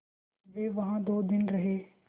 वे वहाँ दो दिन रहे